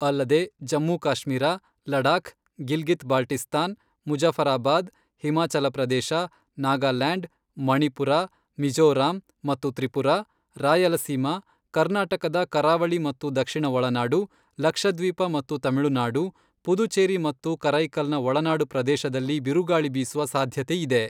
ಅಲ್ಲದೆ ಜಮ್ಮುಕಾಶ್ಮೀರ, ಲಡಾಖ್, ಗಿಲ್ಗಿತ್ ಬಾಲ್ಟಿಸ್ತಾನ್, ಮುಜಫರಾಬಾದ್, ಹಿಮಾಚಲಪ್ರದೇಶ, ನಾಗಾಲ್ಯಾಂಡ್, ಮಣಿಪುರ, ಮಿಝೋರಾಂ ಮತ್ತು ತ್ರಿಪುರಾ, ರಾಯಲಸೀಮಾ, ಕರ್ನಾಟಕದ ಕರಾವಳಿ ಮತ್ತು ದಕ್ಷಿಣ ಒಳನಾಡು, ಲಕ್ಷದ್ವೀಪ ಮತ್ತು ತಮಿಳುನಾಡು, ಪುದುಚೆರಿ ಮತ್ತು ಕರೈಕಲ್ ನ ಒಳನಾಡು ಪ್ರದೇಶದಲ್ಲಿ ಬಿರುಗಾಳಿ ಬೀಸುವ ಸಾಧ್ಯತೆ ಇದೆ.